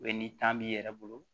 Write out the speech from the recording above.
ni b'i yɛrɛ bolo